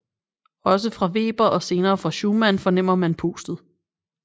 Også fra Weber og senere fra Schumann fornemmer man pustet